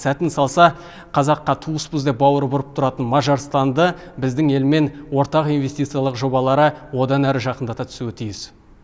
сәтін салса қазаққа туыспыз деп бауыры бұрып тұратын мажарстанды біздің елмен ортақ инвестициялық жобалары одан әрі жақындата түсуі тиіс